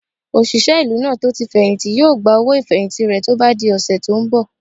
Òṣìṣẹ́ ìlú náà tó tí fẹ̀hìntì yóò gba owó ìfẹ̀hìntì rẹ̀ tó bá di ọ̀sẹ̀ tó n bọ̀